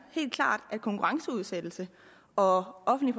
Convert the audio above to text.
helt klart at konkurrenceudsættelse og offentlig